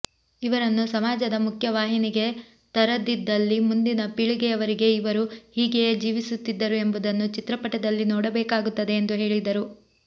ಇವರನ್ನು ಸಮಾಜದ ಮುಖ್ಯ ವಾಹಿನಿಗೆ ತರದಿದ್ದಲ್ಲಿ ಮುಂದಿನ ಪೀಳಿಗೆಯವರಿಗೆ ಇವರೂ ಹೀಗೆಯೇ ಜೀವಿಸುತ್ತಿದ್ದರು ಎಂಬುದನ್ನು ಚಿತ್ರಪಟದಲ್ಲಿ ನೋಡಬೇಕಾಗುತ್ತದೆ ಎಂದು ಹೇಳಿದರು